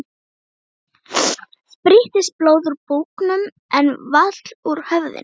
Spýttist blóð úr búknum en vall úr höfðinu.